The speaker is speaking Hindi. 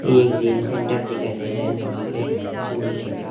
ये एक जिम सेंटर दिखाई दे रहा है जहां पे झूले का--